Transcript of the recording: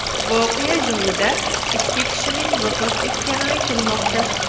Voqea joyida ikki kishining vafot etgani aytilmoqda.